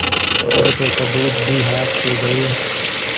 अब तो सबूत भी हाथ से गये